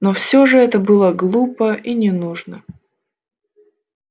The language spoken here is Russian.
но всё же это было глупо и не нужно